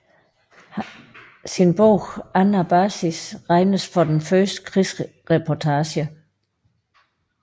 Hans bog Anabasis regnes for den første krigsreportage